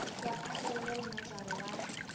ya phaello le mojaro wa